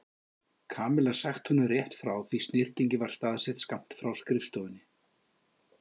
Kamilla sagt honum rétt frá því snyrtingin var staðsett skammt frá skrifstofunni.